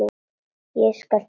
Ég skal trúa því.